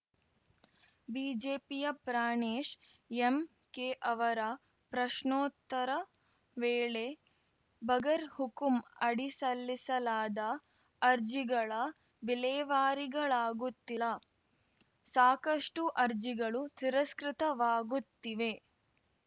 ಬಿಜೆಪಿಯ ಪ್ರಾಣೇಶ್‌ ಎಂಕೆ ಅವರ ಪ್ರಶ್ನೋತ್ತರ ವೇಳೆ ಬಗರ್‌ ಹುಕುಂ ಅಡಿ ಸಲ್ಲಿಸಲಾದ ಅರ್ಜಿಗಳ ವಿಲೇವಾರಿಗಳಾಗುತ್ತಿಲ್ಲ ಸಾಕಷ್ಟುಅರ್ಜಿಗಳು ತಿರಸ್ಕೃತವಾಗುತ್ತಿವೆ